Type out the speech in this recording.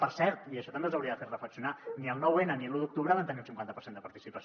per cert i això també els hauria de fer reflexionar ni el nou n ni l’un d’octubre van tenir un cinquanta per cent de participació